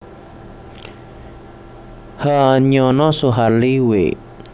H Nyono Suharli W